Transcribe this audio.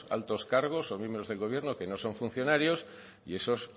altos cargos o miembros del gobierno que no son funcionarios y esos